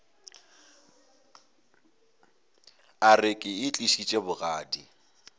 a re ke itlišitše bogadi